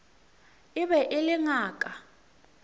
e be e le ngaka